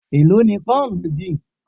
È ló ni pón méjì?